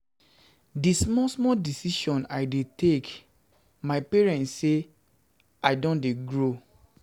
Di small small decision I dey take dondtey tell my parents sey I don dey grow.